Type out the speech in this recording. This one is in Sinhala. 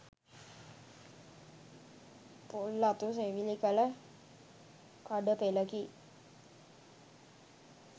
පොල් අතු සෙවිලි කළ කඩ පෙළකි.